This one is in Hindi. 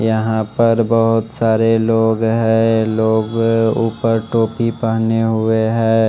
यहां पर बहोत सारे लोग हैं लोग ऊपर टोपी पहने हुए हैं।